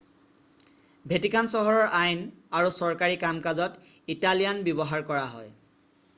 Vatican চহৰৰ আইন আৰু চৰকাৰী কাম কাজত ইটালিয়ান ব্যৱহাৰ কৰা হয়